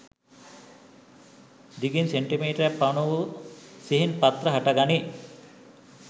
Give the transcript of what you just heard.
දිගින් සෙන්ටිමීටරක් පමණ වූ සිහින් පත්‍ර හටගනී.